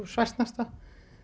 svæsnasta